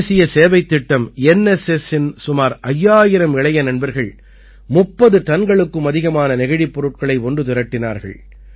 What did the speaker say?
தேசிய சேவைத் திட்டம் என் எஸ் எஸ்ஸின் சுமார் 5000 இளைய நண்பர்கள் 30 டன்களுக்கும் அதிகமான நெகிழிப் பொருட்களை ஒன்று திரட்டினார்கள்